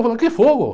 Que fogo?